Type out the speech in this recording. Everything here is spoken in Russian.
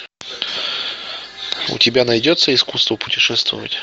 у тебя найдется искусство путешествовать